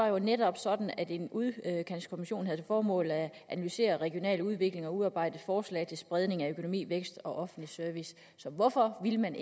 var netop sådan at en udkantskommission havde til formål at analysere regional udvikling og udarbejde forslag til spredning af økonomi vækst og offentlig service hvorfor ville man